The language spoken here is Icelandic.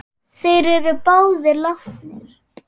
Þeir eru báðir látnir.